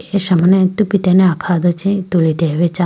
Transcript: kesha mane tupitene akha do chi tulitelayi bo acha.